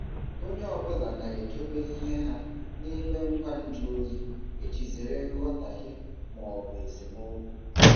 Onye ọ bụla na-edobe ihe ha n'ime ngwa nju oyi iji zere nghọtahie ma ọ bụ esemokwu.